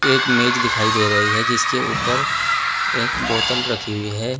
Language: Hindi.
एक मेंज दिखाई दे रही है जिसके ऊपर एक बोतल रखी हुई है।